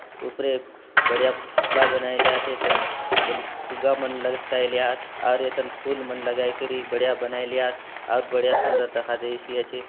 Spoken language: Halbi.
उपरे बढ़िया पुतला बनाय ला आत एथान बले फुग्गा मन लटकाय ली आत अउरी एथाने फूल मन लगाई करि बढ़िया बनाय ली आत अउर बढ़िया सुंदर दखा देयसी आचे।